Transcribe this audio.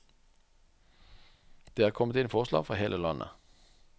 Det er kommet inn forslag fra hele landet.